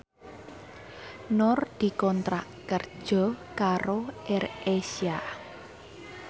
Nur dikontrak kerja karo AirAsia